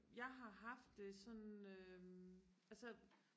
jeg har haft det sådan øhm altså